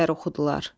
Bülbüllər oxudular.